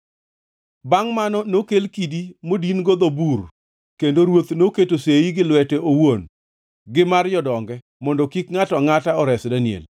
Bangʼ mano nokel kidi modin-go dho bur, kendo ruoth noketo sei gi lwete owuon gi mar jodonge, mondo kik ngʼato angʼata ores Daniel.